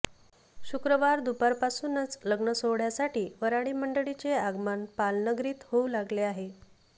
शुक्रवार दुपारपासूनच लग्नसोहळयासाठी वर्हाडी मंडळींचे आगमन पाल नगरीत होवू लागले आहे